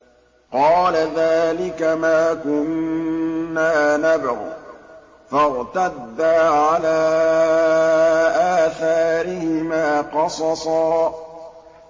قَالَ ذَٰلِكَ مَا كُنَّا نَبْغِ ۚ فَارْتَدَّا عَلَىٰ آثَارِهِمَا قَصَصًا